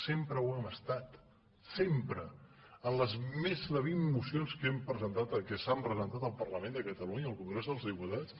sempre ho hem estat sempre en les més de vint mocions que hem presentat que s’han presentat al parlament de catalunya al congrés dels diputats